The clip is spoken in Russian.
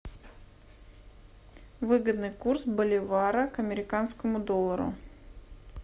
выгодный курс боливара к американскому доллару